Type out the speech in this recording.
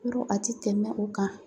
Yɔrɔ a tɛ tɛmɛ o kan